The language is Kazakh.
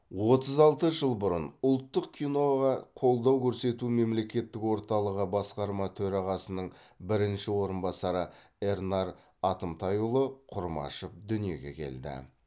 отыз алты жыл бұрын ұлттық киноға қолдау көрсету мемлекеттік орталығы басқарма төрағасының бірінші орынбасары эрнар атымтайұлы құрмашев дүниеге келді